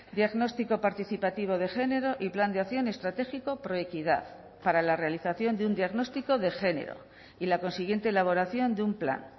diagnóstico participativo de género y plan de acción estratégico proequidad para la realización de un diagnóstico de género y la consiguiente elaboración de un plan